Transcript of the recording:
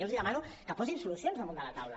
jo els demano que posin solucions damunt de la taula